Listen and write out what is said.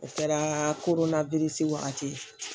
O kɛra wagati ye